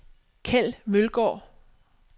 Keld Mølgaard